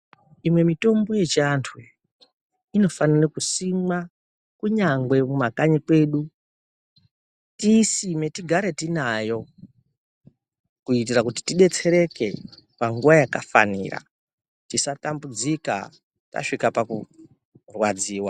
Imwe mitombo yechiantu inofanire kusimwa kunyangwe kumakanyi kwedu. Tiisime tigare tinayo kuitira kuti tidetsereke panguwa yakafanira ,tisatambudzika tasvika pakurwadziwa.